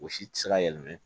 O si tɛ se ka yɛlɛma